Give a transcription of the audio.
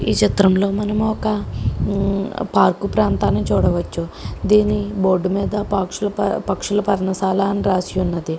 ఈ చిత్రంలో మనము ఒక పార్కు ప్రాంతాన్ని చూడవచ్చు. దీని బోర్డు మీద బాక్సులు పక్షుల పర్ణశాల అని రాసి ఉన్నది.